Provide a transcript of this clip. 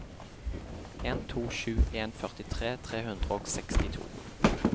en to sju en førtitre tre hundre og sekstito